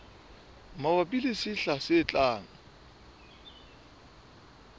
mabapi le sehla se tlang